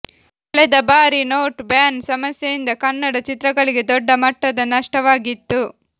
ಕಳೆದ ಬಾರಿ note ban ಸಮಸ್ಯೆಯಿಂದ ಕನ್ನಡ ಚಿತ್ರಗಳಿಗೆ ದೊಡ್ಡ ಮಟ್ಟದ ನಷ್ಟವಾಗಿತ್ತು